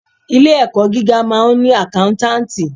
Ilé ẹ̀kọ́ gíga máà ń ni àkántàntì.